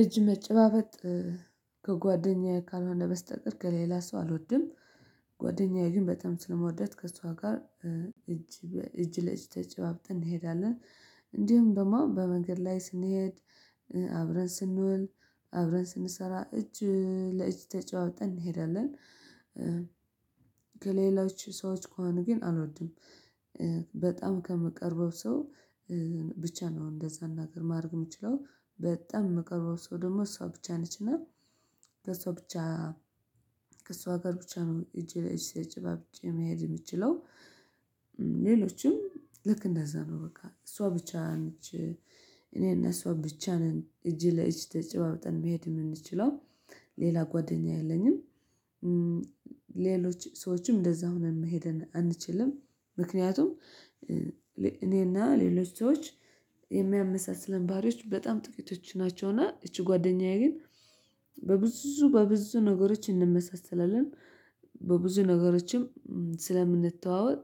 እጅ መጨባበጥ ከጓደኛዬ ካልሆነ በስተቀር፤ ከሌላ ሰው አልወድም ጓደኛዬ ግን በጣም ስለምወዳት ከእሷ ጋር እጅ እጅ ለእጅ ተጨባብጠን እንሄዳለን እንዲሁም በማን በመንገድ ላይ ስንሄድ አብረን ስንውል አብረን ስንሰራ እጅ ለእጅ ተጫወተን እንሄዳለን ከሌላዎች ሰዎች ከሆኑ ግን አልወድም። ከመቀርበው ሰው ብቻ ነው። እንደዛ እናገር ማድረግ የምችለው፤ በጣም የመቀርበው ሰው ደግሞ እሷ ብቻ ነችና ከእሷ ብቻ ከእሷ ጋር ብቻ ነው እጄ ላይ እጅ ለጭባብጭ መሄድ የምትችለው ሌሎችም ልክ እንደዛ ነው፤ በቃ እሷ ብቻ እኔና እሷ ብቻ ነን እጅ ለእጅ ተጨባብጠን መሄድ የምንችለው። ሌላ ጓደኛ የለኝም፤ ሌሎች ሰዎችም እንደዛ ሆነን መሄድ አንችልም ምክንያቱም እኔና ሌሎች ሰዎች የሚያመሳስለን ባሪዎች በጣም ጥቂቶች ናቸውና እቺ ጓደኛዬ ግን በብዙ በብዙ ነገሮች እንመሰስላለን በብዙ ነገሮችም ስለምንተዋወቅ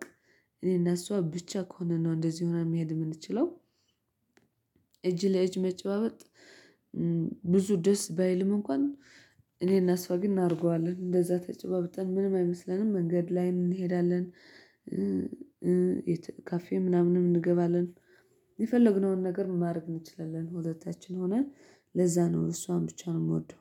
እኔና እሷ ብቻ ከሆነን ነው እንደዚህ ሆና መሄድ የምንችለው፤ እጅ ለእጅ መጨባበጥ ብዙ ደስ ባይልም እንኳን፤ እኔና እሷ ግን እናርገዋለን፤ እንደዛ ተጨባብጠን ምንም አይመስለንም መንገድ ላይም እንሄዳለን ካፌ ምናምን እንገባለን፤ የፈለግነውን ነገር ማድረግ እንችላለን ሁለታችን ሆነን ለዛ ነው እሷም ብቻ ነው የምወደው፤